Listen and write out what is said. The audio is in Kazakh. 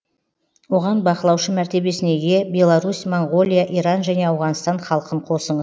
оған бақылаушы мәртебесіне ие беларусь моңғолия иран және ауғанстан халқын қосыңыз